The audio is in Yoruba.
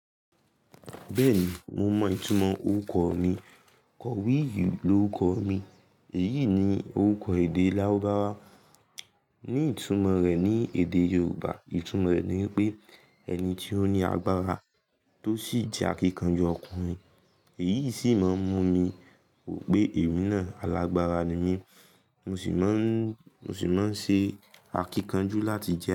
Bẹ́ẹ̀ni, mo mọ ìtumọ̀ orúkọ mi. Kọ̀wí yìí lorúkọ mi, èyí ni orúkọ èdè lárubáwá, ní ìtumọ̀ rẹ̀ ní èdè Yorùbá ìtumọ̀ rẹ̀ ni wípé ẹni ti ó ní agbára tó sì jẹ́ akíkanjú ọkùnrin. Èyí sì máa ń mú mi wò pé èmi náà alágbára ni mí, mo sì máa ń, mo sì máa ń se akíkanjú láti jẹ́